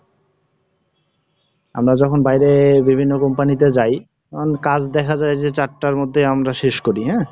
আমরা যখন বাইরে বিভিন্ন Company তে যাই, তখন কাজ দেখা যায় যে চারটার মধ্যে আমরা শেষ করি অ্যা,